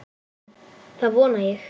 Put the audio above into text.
Það vona ég